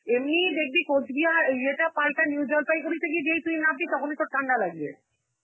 এমনিই দেখবি কোচবিহার, ইয়ে টা পালতা~ new জলপাইগুড়িতে যেই তুই নামবি, তখনই তোর ঠাণ্ডা লাগযে.